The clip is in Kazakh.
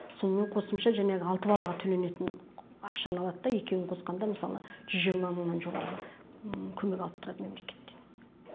сонымен қосымша жәңегі алты балаға төленетін ақшаны алады да екеуін қосқанда мысалы жүз жиырма мыңнан жоғарғы көмек алып тұрады мемлекеттен